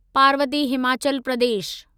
Parvati Himachal Pradesh